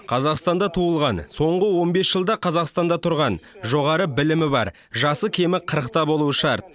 қазақстанда туылған соңғы он бес жылда қазақстанда тұрған жоғары білімі бар жасы кемі қырықта болуы шарт